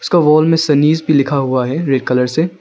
और वाल में सनिज भी लिखा हुआ है रेड कलर से।